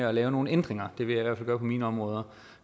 at lave nogle ændringer det vil jeg fald gøre på mine områder